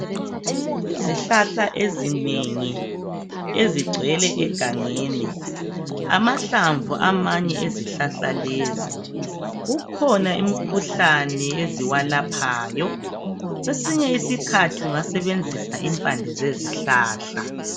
Izihlahla ezinengi ezigcwele egangeni amahlamvu amanye ezihlahla lezi kukhona imikhuhlane eziwalaphayo kwesinye isikhathi ungasebenzisa impande zezihlahla.